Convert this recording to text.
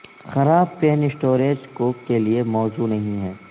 خراب pan storage cook کے لئے موزوں نہیں ہیں